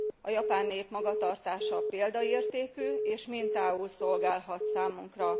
A japán nép magatartása példaértékű és mintául szolgálhat számunkra.